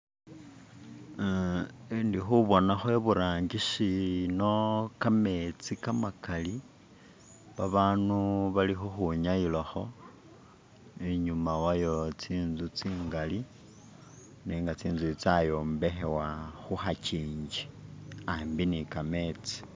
ah indikhubonakho iburangisi ino kametsi kamakali babandu bali khukhwi nyayila kho, inyuma wayo tsinzu tsingali nenga tsinzu itsi tsayombekhebwa khu khakyingi ambi ni kametsi.